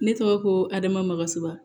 Ne tɔgɔ ko hadamasan